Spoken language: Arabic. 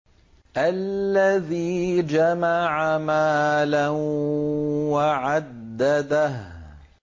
الَّذِي جَمَعَ مَالًا وَعَدَّدَهُ